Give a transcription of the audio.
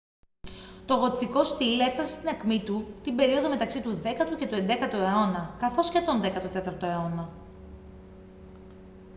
το γοτθικό στιλ έφτασε στην ακμή του την περίοδο μεταξύ του 10ου και του 11ου αιώνα καθώς και τον 14ο αιώνα